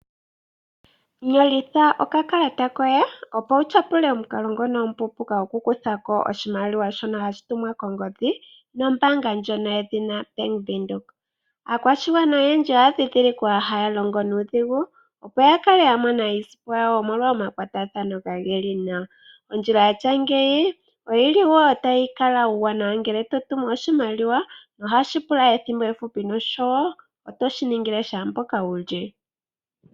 Nyolitha okakalata koye opo wu tyapule omukalo ngono omupuupuuka gokukutha ko oshimaliwa shono hashi tumwa kongodhi nombaanga ndjono yoBank Windhoek. Aakwashigwana oyendji oya dhindhilikwa haya longo nuudhigu opo ya kale ya mona iisimpo yawo, omolwa omakwatathano kage li nawa. Ondjila ya tya ngeyi oyi li wo tayi kala uuwanawa ngele to tumu oshimaliwa nohashi kala ethimbo efupi nosho wo oto shi ningile shaa mpoka wu li.